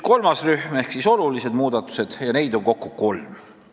Kolmas rühm on olulised muudatused, mida on kokku kolm.